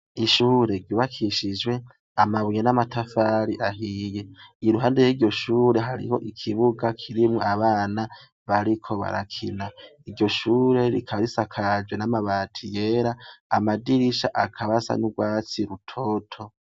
Ishure ry’ubakishijwe amabuye n’amatafari ahiye, iruhande y’iryo shure hariho ikibuga kirimwo abana bariko barakina. Iryo shure rikaba risakajwe n’amabati yera, amadirisha akaba asa n’ugwatsi rutoto.